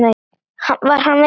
Var hann veikur?